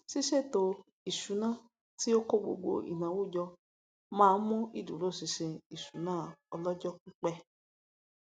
ṣíṣè ètò isuna tí ó kó gbogbo ináwó jọ má ń mú ìdúróṣinṣin ìṣúná ọlọjọpípẹ